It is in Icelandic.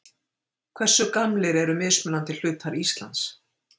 Hversu gamlir eru mismunandi hlutar Íslands?